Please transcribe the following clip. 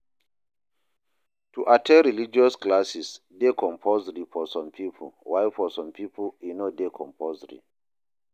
To at ten d religious classes de compulsory for some pipo while for some pipo e no de compulsory